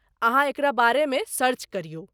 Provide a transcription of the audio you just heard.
अहाँ एकरा बारेमे सर्च करियौ।